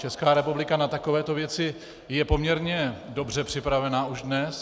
Česká republika na takovéto věci je poměrně dobře připravena už dnes.